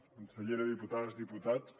consellera diputades diputats